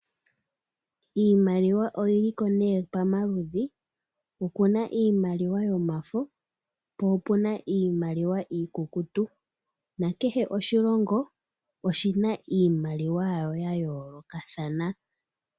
Iimaliwa oyili ko nee pa maludhi, opuna iimaliwa yomafo po opuna iimaliwa iikukutu. Nakehe oshilongo oshina iimaliwa yasho ya yoolokathana.